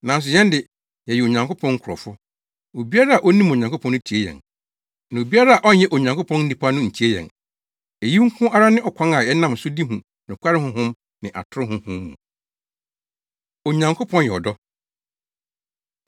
Nanso yɛn de, yɛyɛ Onyankopɔn nkurɔfo. Obiara a onim Onyankopɔn no tie yɛn. Na obiara a ɔnyɛ Onyankopɔn nipa no ntie yɛn. Eyi nko ara ne ɔkwan a yɛnam so de hu nokware Honhom ne atoro honhom mu. Onyankopɔn Yɛ Ɔdɔ